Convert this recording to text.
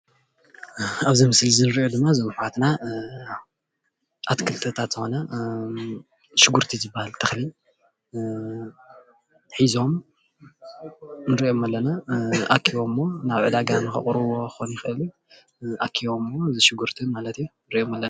ኣብዚ ምስሊ ንሪኦዘለና ዘመሓዋትና ኣትከልትን ዝኮነ ሽንግርትን ዝበሃል ተኽሊ ሒዞም ንሪኦም ኣለና አኪቦሞ ናብ ዐዳጋ ንኻቅርብዎ ክከውን ይኸእል እዩ አኪቦሞ ሽንኩርትይ ማለት እዩ።